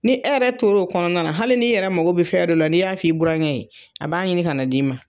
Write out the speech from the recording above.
Ni e yɛrɛ tor'o kɔnɔna na hali n'i yɛrɛ mago be fɛn dɔ la n'i y'a f'i buraŋɛ ye, a b'a ɲinin kan'a d'i ma.